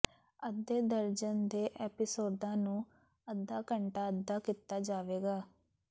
ਅੱਧੇ ਦਰਜਨ ਦੇ ਐਪੀਸੋਡਾਂ ਨੂੰ ਅੱਧਾ ਘੰਟਾ ਅੱਧਾ ਕੀਤਾ ਜਾਵੇਗਾ